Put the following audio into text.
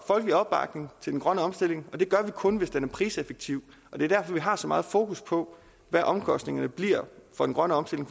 folkelig opbakning til den grønne omstilling og det gør vi kun hvis den er priseffektiv og det er derfor vi har så meget fokus på hvad omkostningerne bliver for den grønne omstilling